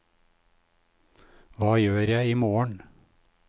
hva gjør jeg imorgen